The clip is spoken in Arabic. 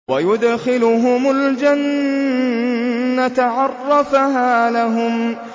وَيُدْخِلُهُمُ الْجَنَّةَ عَرَّفَهَا لَهُمْ